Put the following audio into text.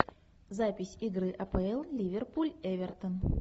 запись игры апл ливерпуль эвертон